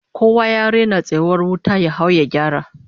Kowa ya raina tsayuwar wata, ya hau ya gyara!